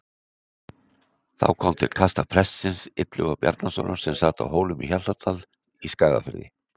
Þá kom til kasta prestsins Illuga Bjarnasonar sem sat á Hólum í Hjaltadal í Skagafirði.